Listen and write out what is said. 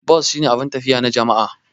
Bas shine abun tafiya na jama'a.